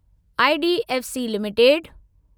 IDFC limited